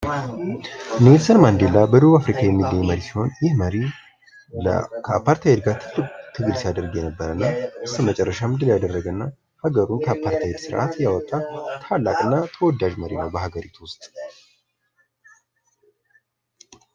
የአገራት አባቶች ታሪካቸው ለዘላለም ሲታወስ የሚኖር ሲሆን፣ ተግባራቸውም የሀገራቸውን ማንነትና እሴቶች ያንፀባርቃል